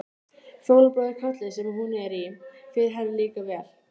Fjólublái kjóllinn sem hún er í fer henni líka vel.